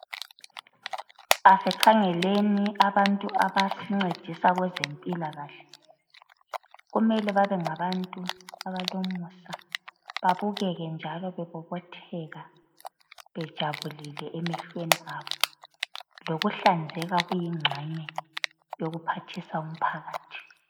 Asikhangeleni abantu abasincedisa kwezempilakahle. Kumele babengabantu abalomusa babukeke njalo bebobotheka, bejabulile emehlweni abo. Lokuhlanzeka kuyingxenye yokuphathisa umphakathi.